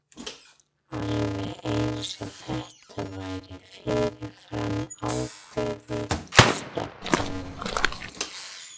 Alveg eins og þetta væri fyrirfram ákveðið stefnumót.